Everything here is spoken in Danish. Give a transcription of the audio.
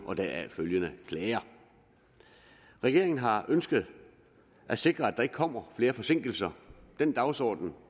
og deraf følgende klager regeringen har ønsket at sikre at der ikke kommer flere forsinkelser den dagsorden